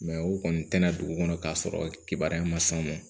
o kɔni tɛna dugu kɔnɔ k'a sɔrɔ kibaruya ma sɔn